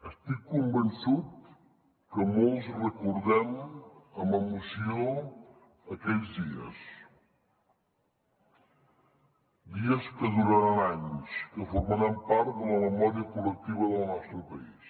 estic convençut que molts recordem amb emoció aquells dies dies que duraran anys que formaran part de la memòria col·lectiva del nostre país